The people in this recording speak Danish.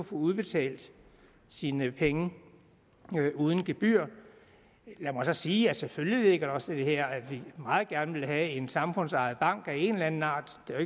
få udbetalt sine penge uden gebyr lad mig så sige at selvfølgelig ligger der også i det her at vi meget gerne vil have en samfundsejet bank af en eller anden art det er